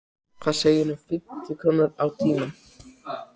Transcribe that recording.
Hvað segirðu um fimmtíu krónur á tímann?